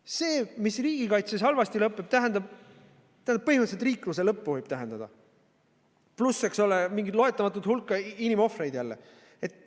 See, mis riigikaitses halvasti lõppeb, tähendab põhimõtteliselt riikluse lõppu, võib tähendada, pluss mingit loendamatut hulka inimohvreid.